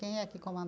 Quem é que